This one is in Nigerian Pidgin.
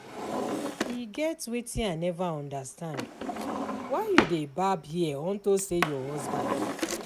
E get wetin I never understand, why you dey barb hair unto say your husband die